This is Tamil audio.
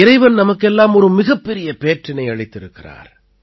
இறைவன் நமக்கெல்லாம் ஒரு மிகப்பெரிய பேற்றினை அளித்திருக்கிறார்